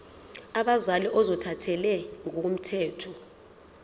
abazali ozothathele ngokomthetho